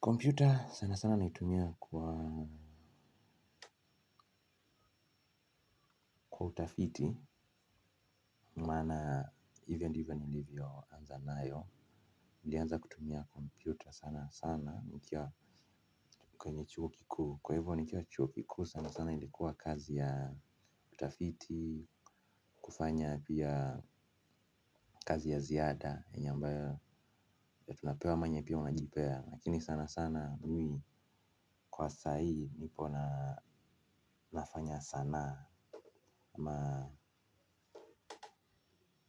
Kompyuta sana sana naitumia kwa utafiti. Maana hivyo ndivyo nilivyoanza nayo nilianza kutumia kompyuta sana sana nikiwa kwenye chuo kikuu. Kwa hivyo nikiwa chuo kikuu sana sana ilikuwa kazi ya utafiti. Kufanya pia kazi ya ziada ambayo huwa tunapewa ama yenye pia umejipea, lakini sana sana mimi kwa sahii nipo nafanya sanaa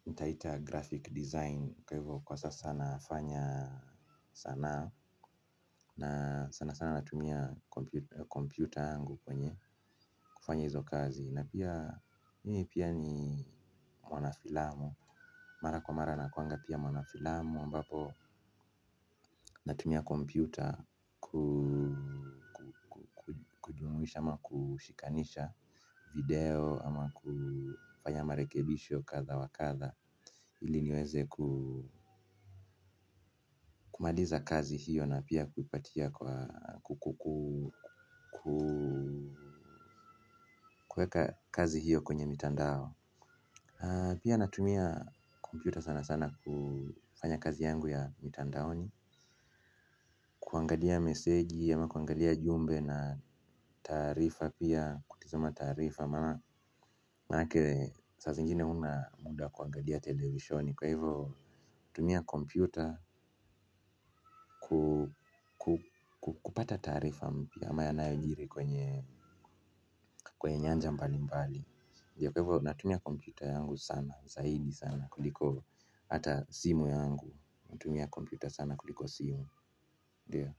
nitaita graphic design kwa hivyo kwa sasa nafanya sanaa na sana sana natumia kompyuta yangu kwenye kufanya hizo kazi na pia mimi pia ni mwanafilamu. Mara kwa mara nakuwanga pia mwanafilamu ambapo natumia kompyuta kuidhinisha ama kushikanisha video ama kufanya marekebisho kadha wa kadha iliniweze kumaliza kazi hiyo na pia kuipatia kwa kuweka kazi hiyo kwenye mtandao. Pia natumia kompyuta sana sana kufanya kazi yangu ya mitandaoni. Kuangalia meseji ama kuangalia ujumbe ama taarifa pia kutizama taarifa maana manake saa zingine hauna muda wa kuangalia televisheni kwa hivo tumia kompyuta kupata taarifa mpya ama yanayojiri kwenye nyanja mbalimbali. Ndiyo kwa maana natumia kompyuta yangu sana zaidi sana kuliko hata simu, yangu natumia kompyuta sana kuliko simu ndio.